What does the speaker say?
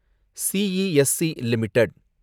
CESC limited